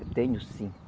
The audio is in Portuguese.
Eu tenho cinco.